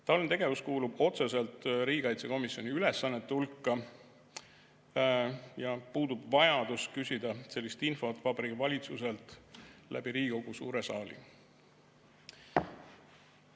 Taoline tegevus kuulub otseselt riigikaitsekomisjoni ülesannete hulka ja puudub vajadus küsida sellist infot Vabariigi Valitsuselt läbi Riigikogu suure saali.